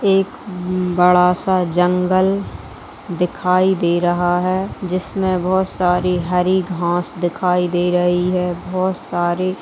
एक बड़ा सा जंगल दिखाई दे रहा हैं जिसमे बहोत सारी हरी घास दिखाई दे रही है बहोत सारी--